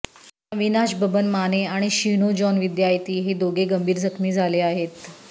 अविनाश बबन माने आणि शिनो जॉन विद्यायती हे दोघे गंभीर जखमी झाले आहेत